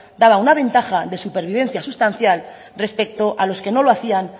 daba una ventaja de supervivencia sustancial respecto a los que no lo hacían